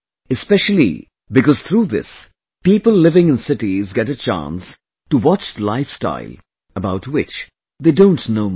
Specially because through this, people living in cities get a chance to watch the lifestyle about which they don't know much